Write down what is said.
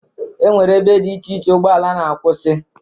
Enwere ebe dị iche iche ụgbọala na-akwụsị.